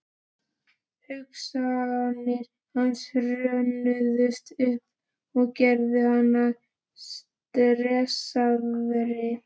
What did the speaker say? Hugsanir hans hrönnuðust upp og gerðu hann enn stressaðri.